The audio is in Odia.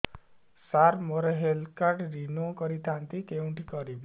ସାର ମୋର ହେଲ୍ଥ କାର୍ଡ ରିନିଓ କରିଥାନ୍ତି କେଉଁଠି କରିବି